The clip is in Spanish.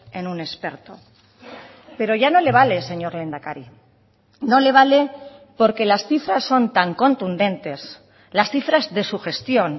en un experto pero ya no le vale señor lehendakari no le vale porque las cifras son tan contundentes las cifras de su gestión